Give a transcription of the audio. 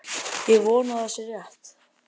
Ég vona að það sé rétt.